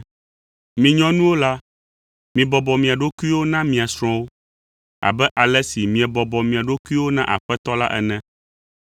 Mi nyɔnuwo la, mibɔbɔ mia ɖokuiwo na mia srɔ̃wo abe ale si miebɔbɔ mia ɖokuiwo na Aƒetɔ la ene.